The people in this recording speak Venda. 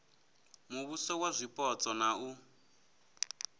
muvhuso wa zwipotso na u